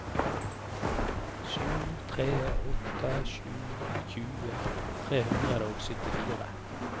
sju tre åtte sju tjue tre hundre og syttifire